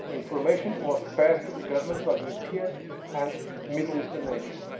The information was passed to the governments of European and Middle Eastern nations.